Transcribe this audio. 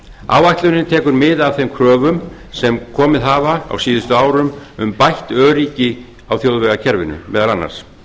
áætlunin tekur mið af þeim kröfum sem komið hafa á síðustu árum um bætt öryggi á þjóðvegakerfinu meðal annars